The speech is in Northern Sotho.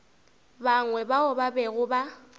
bangwe bao ba bego ba